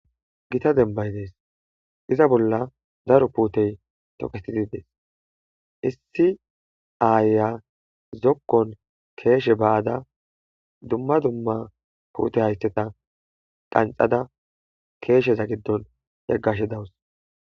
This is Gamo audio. gita dembay dees iza bolla daro puutey toketidi des issi aaya zokkon keeshe ba'ada dumma dumma puute hayteta qanxada keesheza giddon yaggashe dawus